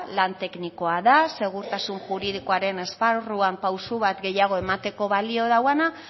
lan teknikoa da segurtasun juridikoaren esparruan pausu bat gehiago emateko balio duena